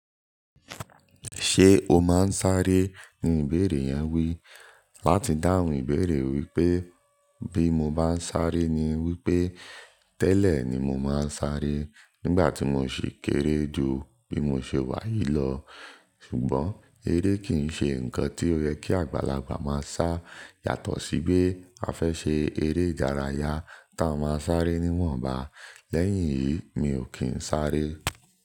"Ṣé o máa ń sáré?" Ni ìbéèrè yẹn wí. Láti dáhùn ìbéèrè wípé bí mo bá ń sáré ni wípé tẹ́lẹ̀ ni mo máa ń sáré nígbà tí mo sì kéré jù bí mo ṣe wà yìí lọ. Ṣùgbọ́n eré kì n ṣe nǹkan tí ó yẹ kí àgbàlagbà máa sá yàtọ̀ sí bí a fẹ́ ṣe eré ìdárayá ta máa sáré ni wọ́n bá. Lẹ́yìn èyí mi ò kí ń sáré.